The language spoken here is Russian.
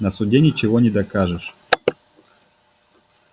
на суде ничего не докажешь